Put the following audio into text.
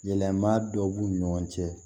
Yɛlɛma dɔ b'u ni ɲɔgɔn cɛ